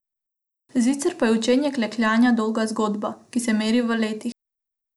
Sicer pa je učenje klekljanja dolga zgodba, ki se meri v letih.